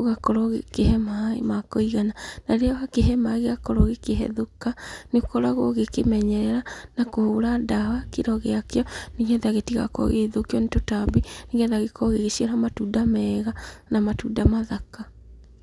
ũgakorwo ũgĩkĩhe maĩ ma kũigana. Na rĩrĩa wakĩhe maĩ gĩakorwo gĩkĩhethũka, nĩũkoragwo ũgĩkĩmenyerera na kũhũra ndawa kĩro gĩakĩo, nĩgetha gĩtigakorwo gĩgĩthũkio nĩ tũtambi, nĩgetha gĩkorwo gĩgĩciara matunda mega na matunda mathaka.